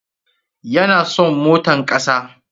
Ya na son motan kasa.